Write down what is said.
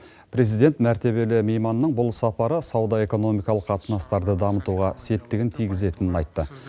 президент мәртебелі мейманның бұл сапары сауда экономикалық қатынастарды дамытуға септігін тигізетінін айтты